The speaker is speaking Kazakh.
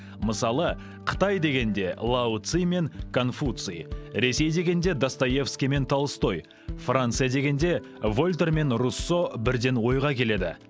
мысалы қытай дегенде лао цзы мен конфуций ресей дегенде достоевский мен толстой франция дегенде вольтер мен руссо бірден ойға келеді